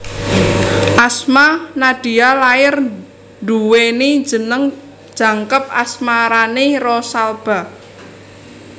Asma Nadia lair nduweni jeneng jangkep Asmarani Rosalba